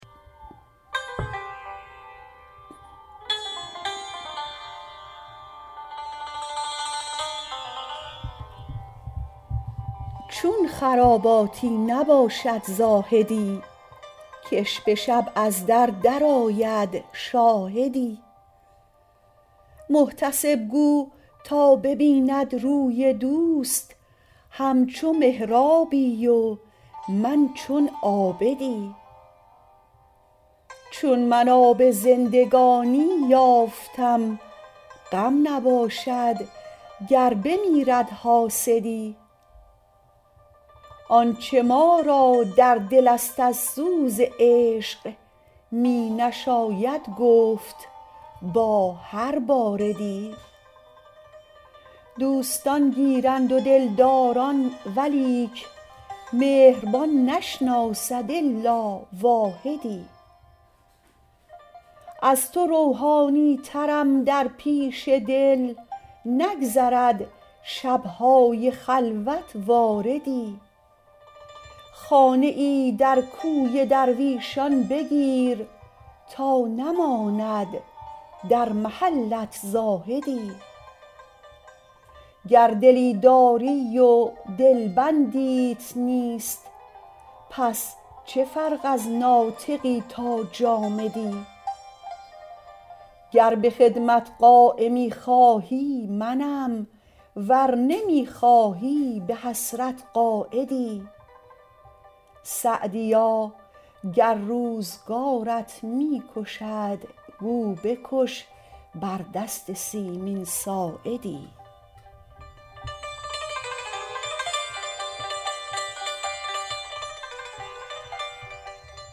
چون خراباتی نباشد زاهدی که ش به شب از در درآید شاهدی محتسب گو تا ببیند روی دوست همچو محرابی و من چون عابدی چون من آب زندگانی یافتم غم نباشد گر بمیرد حاسدی آنچه ما را در دل است از سوز عشق می نشاید گفت با هر باردی دوستان گیرند و دلداران ولیک مهربان نشناسد الا واحدی از تو روحانی ترم در پیش دل نگذرد شب های خلوت واردی خانه ای در کوی درویشان بگیر تا نماند در محلت زاهدی گر دلی داری و دلبندیت نیست پس چه فرق از ناطقی تا جامدی گر به خدمت قایمی خواهی منم ور نمی خواهی به حسرت قاعدی سعدیا گر روزگارت می کشد گو بکش بر دست سیمین ساعدی